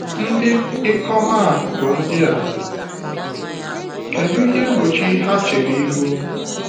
Ndị ikom a bụ ndị a, kedu ihe mgbochi ha chere ihu?